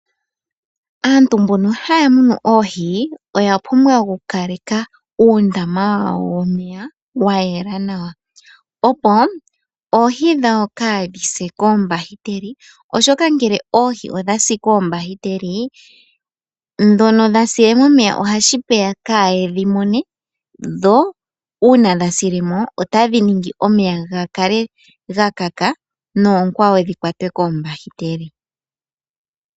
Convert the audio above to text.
Aantu mbono haya munu oohi oyapumbwa oku kaleka uundama wawo wayela opo oohi dhawo kaadhise koombahiteli, ngele oohi odhasile momeya otashi vuluka kayedhi mone dho uuna dhasilemo otadhi ningitha omeya gakale ga kaka nookwaqo dhikwatwe koombahiteli.